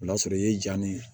O y'a sɔrɔ i ye jan de